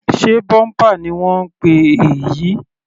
Sé bumper ni wọ́n ń pè èyí?